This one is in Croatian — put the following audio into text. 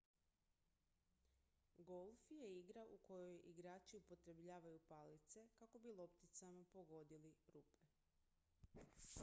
golf je igra u kojoj igrači upotrebljavaju palice kako bi lopticama pogodili rupe